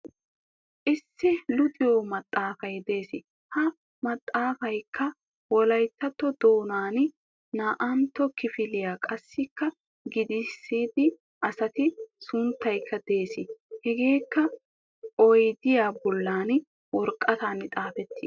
Issi luxiyo maxxaafay des. Ha maxxaafayikka wolayittatto doonan naa"antta kifiliyaga qassikka giigissida asati sunttayikka des. Hegaa odiyage bootta wiraqatan xaafettis.